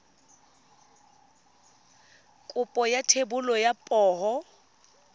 kopo ya thebolo ya poo